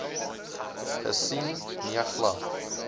gesien nee glad